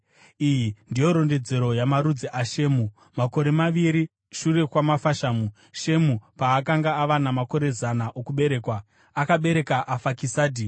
Iyi ndiyo rondedzero yamarudzi aShemu. Makore maviri shure kwamafashamu, Shemu paakanga ava namakore zana okuberekwa, akabereka Afakisadhi.